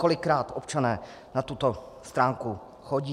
Kolikrát občané na tuto stránku chodí?